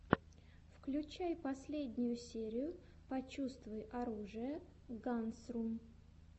включай последнюю серию почувствуй оружие гансрум